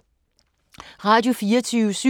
Radio24syv